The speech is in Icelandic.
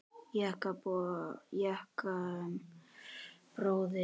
Jakob bróðir.